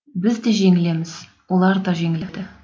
біз де жеңілеміз олар да жеңіледі